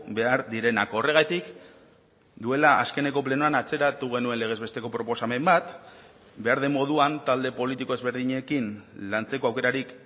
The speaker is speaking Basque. behar direnak horregatik duela azkeneko plenoan atzeratu genuen legez besteko proposamen bat behar den moduan talde politiko ezberdinekin lantzeko aukerarik